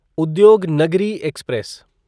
Udyognagari express